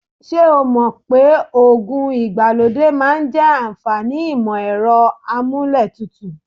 Ṣé o mọ̀ pé oògùn ìgbàlódé máa ń jẹ àǹfàní ìmọ-ẹ̀rọ amúlé tutù?